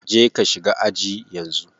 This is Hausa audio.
Je ka shiga aji yanzu.